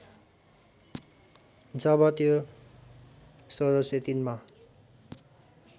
जब त्यो १६०३मा